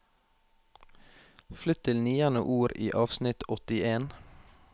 Flytt til niende ord i avsnitt åttien